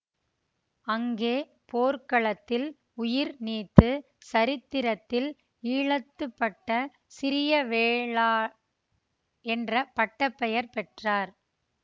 அங்கே போர்க்களத்தில் உயிர் நீத்து சரித்திரத்தில் ஈழத்து பட்ட சிறிய வேளார் என்ற பட்டப்பெயர் பெற்றார்